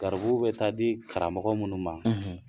Garibuw be taa di karamɔgɔ munnu ma